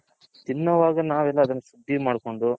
ತಿನ್ನೋವಾಗ ನಾವ್ ಎಲ್ಲಾ ಅದನ್ನ clean ಮಾಡ್ಕೊಂಡು